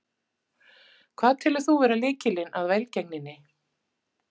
Hvað telur þú vera lykilinn að velgengninni?